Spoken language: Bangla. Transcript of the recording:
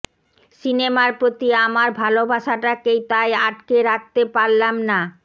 সিনেমার প্রতি আমার ভালবাসাটাকে তাই আটকে রাখতে পারলাম না